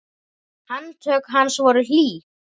Handtök hans voru hlý.